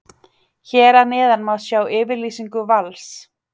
Hér að neðan má sjá yfirlýsingu Vals.